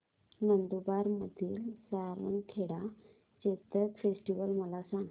नंदुरबार मधील सारंगखेडा चेतक फेस्टीवल मला सांग